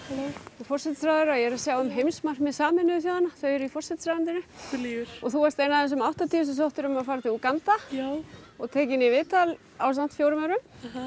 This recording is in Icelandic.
forsætisráðherra ég er að sjá um heimsmarkmið sameinuðu þjóðanna þau eru í forsætisráðuneytinu þú lýgur þú varst ein af þessum áttatíu sem sóttu um að fara til Úganda og tekin í viðtal ásamt fjórum öðrum